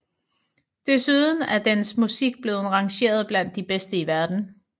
Desuden er dens musik blev rangeret blandt de bedste i verden